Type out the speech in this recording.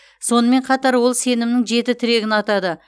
сонымен қатар ол сенімнің жеті тірегін атады